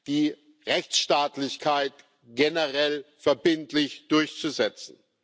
die Rechtsstaatlichkeit generell verbindlich durchzusetzen.